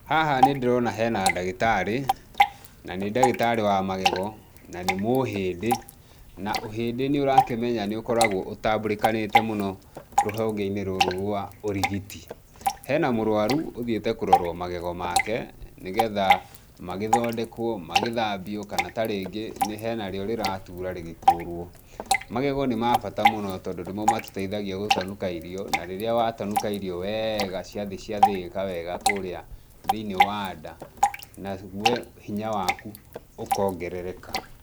Haha nĩ ndĩrona hena ndagĩtarĩ, nanĩ ndagĩtarĩ wa magego, na nĩ mũhĩndĩ, na ũhĩndĩ nĩ ũrakĩmenya nĩ ũkoragwo ũtambũrĩkanĩte mũno rũhonge-inĩ rũrũ rwa ũrigiti. Hena mũrũaru ũthiĩte kũrorwo magego make nĩgetha magĩthondekwo, magĩthambio kana ta rĩngĩ nĩ hena rĩo rĩratura rĩgĩkũrwo. Magego nĩ ma bata mũno tondũ nĩmo matũteithagia gũtanuka irio, na rĩrĩa watanuka irio weega ciathiĩ ciathĩĩka wega kũrĩa thĩinĩ wa nda nawe hinya waku ũkongerereka.